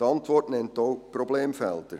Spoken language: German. Die Antwort nennt auch Problemfelder.